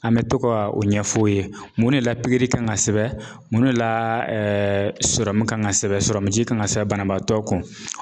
An bɛ to ka o ɲɛfɔ o ye mun de la pikiri kan ka sɛbɛn, mun de la sɔrɔmu kan ka sɛbɛn ,sɔrɔmu ji kan ka sɛbɛn banabaatɔ kun